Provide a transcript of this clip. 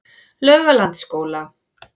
Laugalandsskóla